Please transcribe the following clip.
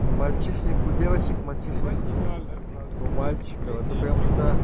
мальчишник у девочек материальное мальчика вот только что